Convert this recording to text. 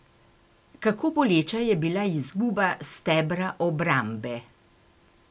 Kako boleča je bila izguba stebra obrambe?